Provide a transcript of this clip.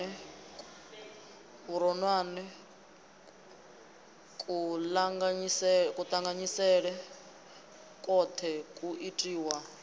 vhuronwane kuṱanganyisele kwoṱhe kwu itiwa